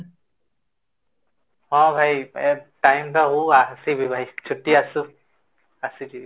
ହଁ ଭାଇ time ତ ହୋଉ ଆସିବି ଭାଇ ଛୁଟ୍ଟୀ ଆସୁ ଆସିବି